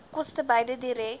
koste beide direk